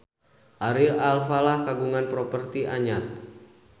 Ari Alfalah kagungan properti anyar